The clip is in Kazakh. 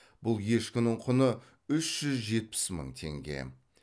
бұл ешкінің құны үш жүз жетпіс мың теңге